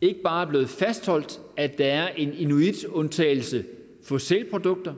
ikke bare er blevet fastholdt at der er en inuitundtagelse for sælprodukter